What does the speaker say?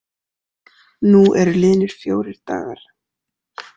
Nú eru liðnir fjórir dagar.